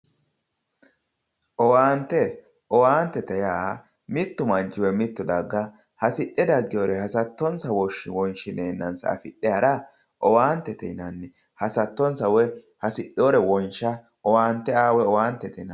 owaante owaantete yaa mitte daga woyi mittu manchi hasidhe dagginore hasattonsa wonshineennansa afidhe hara owaantete yinanni hasattonsa woyi hasidhinore wonsha owaante aa woy owaantete yinannni.